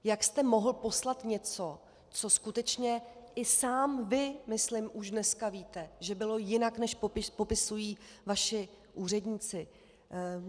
Jak jste mohl poslat něco, co skutečně i sám vy myslím už dneska víte, že bylo jinak, než popisují vaši úředníci?